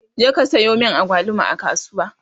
je ka Sayo min agwaluma a kasuwa!